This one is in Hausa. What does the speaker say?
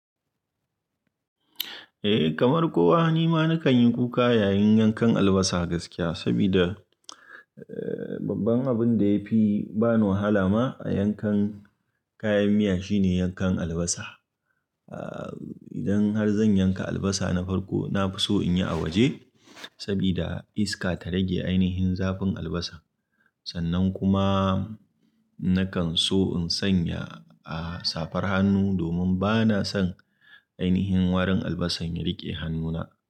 Eh kamar kowa ni ma na kan yi kuka yayin yankan albasa gaskiya, sabida eh babban abun da ya fi ba ni wahala ma a yankan kayan miya shine yankan albasa. Ah idan har zan yanka albasa na farko na fi so in yi a waje sabida iska ta rage ainihin zafin albasa. Sannan kuma nakan so in sanya ah safar hannu domin ba na son ainihin warin albasan ya riƙe hannuna.